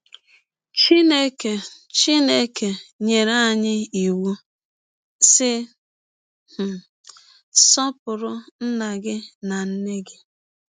Chineke Chineke nyere anyị iwụ, sị: um “ Sọpụrụ nna gị na nne gị. ”